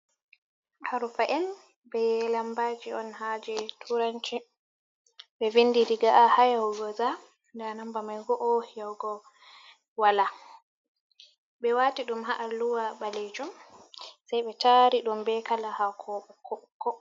Harfa’en be lambaji on ha je turanci be windi diga a hayahugo za nda mba mai go’o yago wala, be wati dum ha’a luwa balejom sai be tari dum be kala ha ko boko.